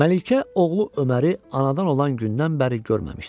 Məlikə oğlu Öməri anadan olan gündən bəri görməmişdi.